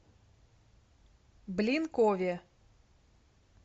блинкове